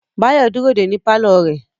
Báyọ̀ dúró dè ẹ́ ní pálọ̀ rẹ̀